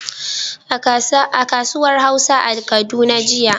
A kasuwar dare a Kaduna jiya, mafi yawan masu sayarwa sun yi magana da harshen Hausa.